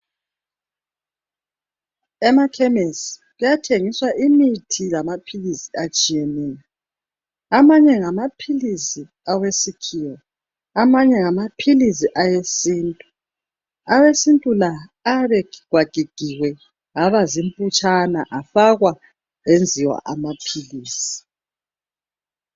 Emakhemesi kuyathengiswa imthi lamaphilisi atshiyeneyo. Amanye ngamaphilisi awesikhiwa, amanye ngamaphilisi awesintu. Awesintu la ayabe egigagigiwe aba zimphutshana afakwa enziwa amaphilisi.